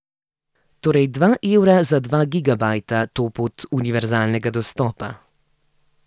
Torej dva evra za dva gigabajta to pot univerzalnega dostopa.